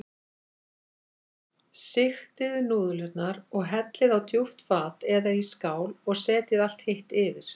Sigtið núðlurnar og hellið á djúpt fat eða í skál og setjið allt hitt yfir.